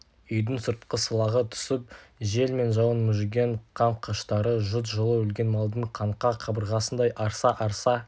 үйдің сыртқы сылағы түсіп жел мен жауын мүжіген қам қыштары жұт жылы өлген малдың қаңқа қабырғасындай арса-арса